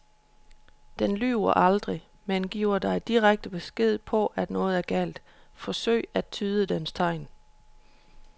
Den lyver aldrig, men giver dig direkte besked på at noget er galt, forsøg at tyde dens tegn.